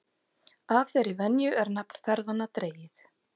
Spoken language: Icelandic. Af þeirri venju er nafn ferðanna dregið.